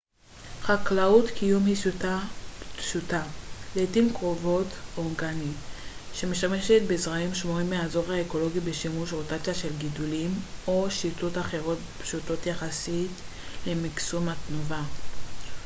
חקלאות קיום היא שיטה פשוטה לעתים קרובות אורגנית שמשתמשת בזרעים שמורים מהאזור האקולוגי בשילוב רוטציה של גידולים או שיטות אחרות פשוטות יחסית למקסום התנובה